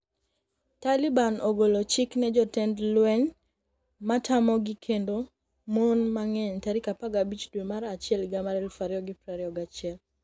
Taliban ogolo chik ne jotend lweny matamogi kendo mon mang'eny tarik 15 dwe mar achiel higa mar 2021